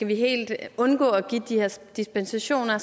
vi helt kan undgå at give de her dispensationer